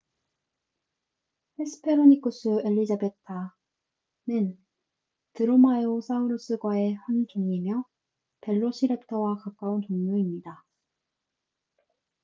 헤스페로니쿠스 엘리자베타hesperonychus elizabetae는 드로마에오사우루스과의 한 종이며 벨로시렙터와 가까운 종류입니다